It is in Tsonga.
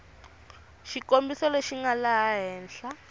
xikombiso lexi nga laha henhla